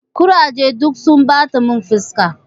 Kuraje duk sun ɓata mun fuska.